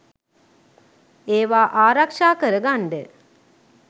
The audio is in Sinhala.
ඒවා ආරක්ෂා කරගන්ඩ